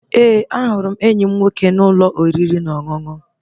Ee, ahụrụ m enyi m nwoke n'ụlọ oriri na ọṅụṅụ